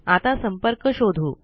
आता संपर्क शोधू